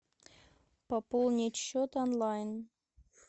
пополнить счет онлайн